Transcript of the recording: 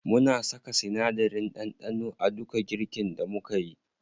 Muna saka sinadarin ɗanɗano a duka girkin da mukeyi.